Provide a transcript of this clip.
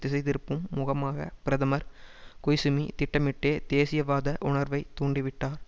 திசைதிருப்பும் முகமாக பிரதமர் கொய்சுமி திட்டமிட்டே தேசியவாத உணர்வை தூண்டிவிட்டார்